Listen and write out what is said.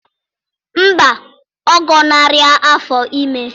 Mba, ọ gọnarị afọ ime